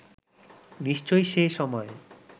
নিশ্চয়ই সে সময়ে